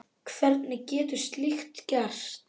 Hvernig getur slíkt gerst?